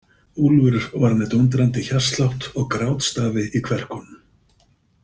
Úlfur var með dúndrandi hjartslátt og grátstafi í kverkunum.